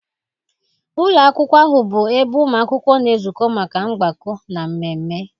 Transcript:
Ụlọ akwụkwọ ahụ bụ ebe ụmụ akwụkwọ na-ezukọ maka mgbakọ, na mmemme